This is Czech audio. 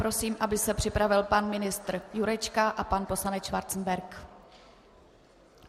Prosím, aby se připravil pan ministr Jurečka a pan poslanec Schwarzenberg.